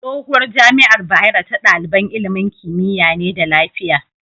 Tsohuwar jamiar bayero ta daliban ilimin kimiya ne da lafiya